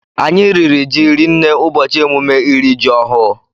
Anyị riri jị rinne ụbọchị emume ịri jị ọhụụ